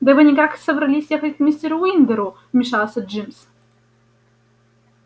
да вы никак собрались ехать к мистеру уиндеру вмешался джимс